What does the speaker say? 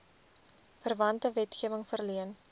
verwante wetgewing verleen